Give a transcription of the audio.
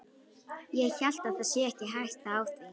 Ég held það sé ekki hætta á því.